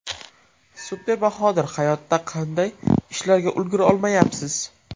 Super Bahodir Hayotda qanday ishlarga ulgura olmayapsiz?